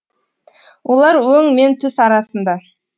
олар өң мен түс арасында